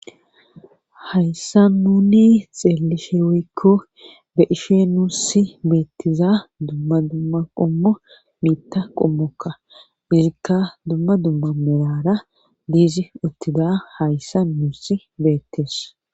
Hayssa nuni xeellishe woykko be ishe nuussi beettiza dumma dumma qommo miitta qommokka izikka dumma dumma melara diizi uttida hayssa nuussi beettes